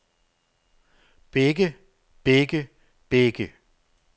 begge begge begge